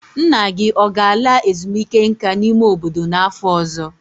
Nna gị ọ ga-ala ezumike nka n'ime obodo n'afọ ọzọ?